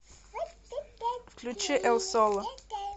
включи эл соло